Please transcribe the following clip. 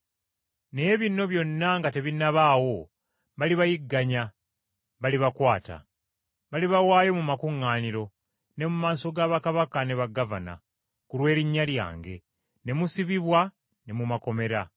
“Naye bino byonna nga tebinnabaawo balibayigganya, balibakwata. Balibawaayo mu makuŋŋaaniro, ne mu maaso ga bakabaka ne bagavana, ku lw’erinnya lyange, ne musibibwa ne mu makomera.